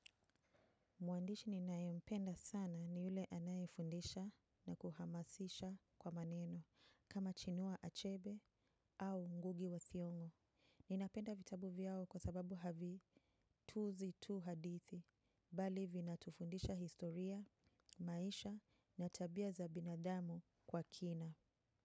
Mwandishi ninaempenda sana ni yule anaefundisha na kuhamasisha kwa maneno, kama Chinua Achebe au Ngugi wa Thiong'o. Ninapenda vitabu vyao kwa sababu havi tuuzi tu hadithi, bali vina tufundisha historia, maisha na tabia za binadamu kwa kina.